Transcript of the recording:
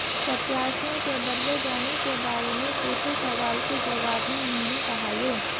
प्रत्याशियों के बदले जाने के बारे में पूछे सवाल के जवाब में उन्होंने कहा ये